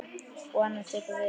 Og annað tekur við.